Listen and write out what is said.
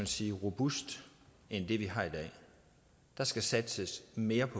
sige robust end den vi har i dag der skal satses mere